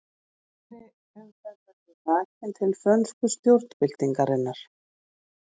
Hægri umferð verður rakin til frönsku stjórnarbyltingarinnar.